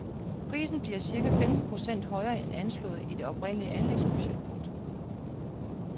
Prisen bliver cirka femten procent højere end anslået i det oprindelige anlægsbudget. punktum